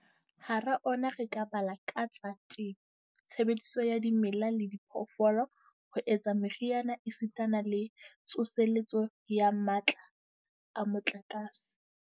Hara ona re ka bala a tsa temo, tshebediso ya dimela le diphoofolo ho etsa meriana esitana le tsoseletso ya matla a motlakase.